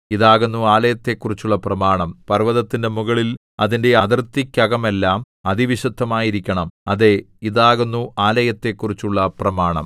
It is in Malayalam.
ഇതാകുന്നു ആലയത്തെക്കുറിച്ചുള്ള പ്രമാണം പർവ്വതത്തിന്റെ മുകളിൽ അതിന്റെ അതിർത്തിക്കകമെല്ലാം അതിവിശുദ്ധമായിരിക്കണം അതേ ഇതാകുന്നു ആലയത്തെക്കുറിച്ചുള്ള പ്രമാണം